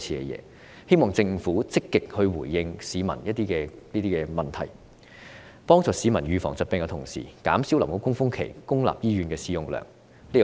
我希望政府能積極回應市民這些疑問，在協助市民預防疾病之餘，同時減少流感高峰期公立醫院的使用量。